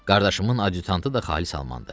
Qardaşımın adyutantı da xalis almandır.